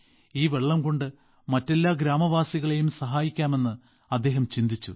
ഈ വെള്ളംകൊണ്ട് മറ്റെല്ലാ ഗ്രാമവാസികളെയും സഹായിക്കാമെന്നു അദ്ദേഹം ചിന്തിച്ചു